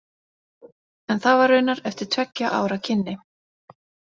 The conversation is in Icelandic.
En það var raunar eftir tveggja ára kynni.